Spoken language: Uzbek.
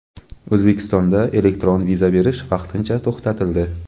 O‘zbekistonda elektron viza berish vaqtincha to‘xtatildi.